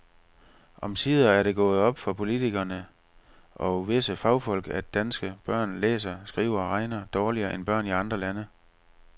Omsider er det gået op for politikere og visse fagfolk, at danske børn læser, skriver og regner dårligere end børn i andre lande.